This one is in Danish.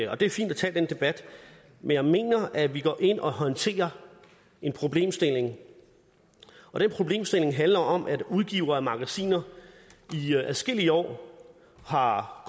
og det er fint at tage den debat men jeg mener at vi går ind og håndterer en problemstilling og den problemstilling handler om at udgivere af magasiner i adskillige år har